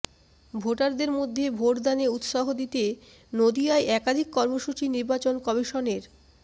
ভোটারদের মধ্যে ভোটদানে উৎসাহ দিতে নদিয়ায় একাধিক কর্মসূচি নির্বাচন কমিশনের